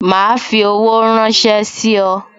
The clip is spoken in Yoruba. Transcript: Ma fi owó ránsẹ́ sí ọ